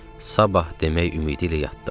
Sabah demək ümidi ilə yatdım.